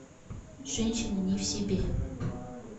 женщина не в себе